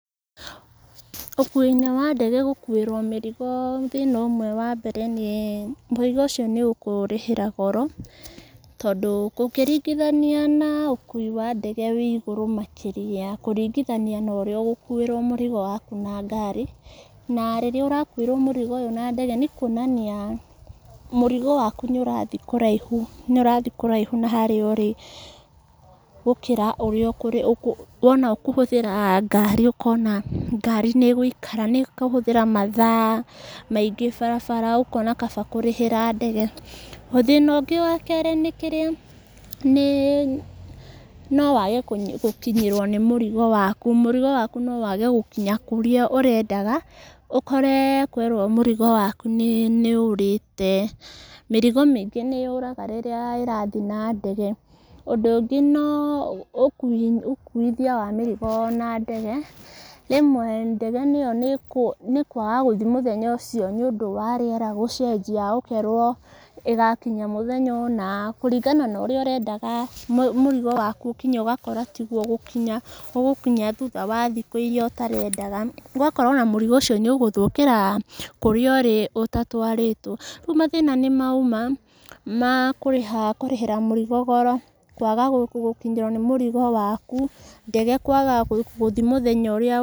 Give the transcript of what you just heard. Ũkui-inĩ wa ndege gũkuĩrwo mĩrigo, thĩna ũmwe wa mbere, nĩ mũrigo ũcio nĩ ũkũũrĩhĩra goro, tondũ gũkĩringithania na ũkui wa ndege wĩigũrũ makĩria, kũringithania norĩa ũgũkuĩrwo mũrigo waku na ngari, na rĩrĩa ũrakuĩrwo mũrigo ũyũ na ndege, nĩ kuonania, mũrigo waku nĩ ũrathi kũraihu, nĩ ũrathi kũraihu na harĩa ũrĩ, gũkĩra ũrĩa ũkũ ũkũ wona ũkũhũthĩra ngari ũkona ngari nĩ ĩgũikara, nĩkũhũthĩra mathaa maingĩ barabara, ũkona kaba kũrĩhĩra ndege, thĩna ũngĩ wa kerĩ nĩkĩrĩa, nĩ nowage kũnyi gũkinyĩrwo nĩ mũrigo waku, mũrigo waku nowage gũkinya kũrĩa ũrendaga, ũkore kwerwo mũrigo waku nĩ nĩ ũrĩte, mĩrigo maingĩ nĩ yũraga rĩra ĩrathi na ndege, ũndũ ũngĩ no ũkui, ũkuithia wa mĩrigo na ndege, rĩmwe ndege ĩyo nĩ kwaga gũthi mũthenya ũcio nĩ ũndũ wa rĩera gũcenjia, ũkerwo ĩgakinya mũthenya ũna, kũringana norĩa ũrendaga mũrigo waku ũkinye, ũgakora tiguo gũkinya, ũgũkinya thutha wa thikũ iria ũtarandaga, ũgakora ona mũrigo ũcio nĩ ũgũthũkĩra kũrĩa ũrĩ ũtatwarĩtwo, rĩu mathĩna nĩmau ma makũrĩhĩra mũrigo goro, kwaga gũkinyĩrwo nĩ mũrigo waku, ndege kwaga gũthi mũthenya ũrĩa.